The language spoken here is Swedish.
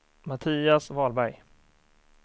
Mattias Wahlberg